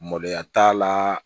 Maloya t'a la